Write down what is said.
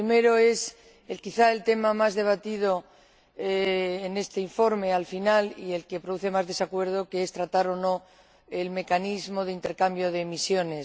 El primero es, quizá, el tema más debatido finalmente en este informe y el que produce más desacuerdo, que es tratar o no el mecanismo de intercambio de emisiones.